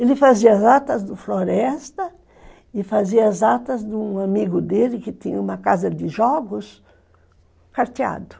Ele fazia as atas do Floresta e fazia as atas de um amigo dele, que tinha uma casa de jogos, carteado.